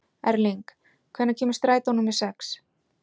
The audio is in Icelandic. Erling, hvenær kemur strætó númer sex?